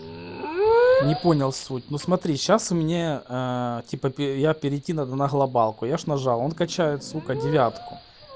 не понял суть ну смотри сейчас мне ээ типа я перейти надо на глобалку я же нажал он качает сука девятку